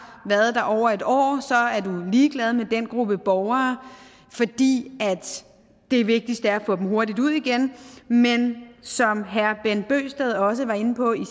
været der over et år er man ligeglad med den gruppe borgere fordi det vigtigste er at få dem hurtigt ud igen men som herre bent bøgsted også var inde på i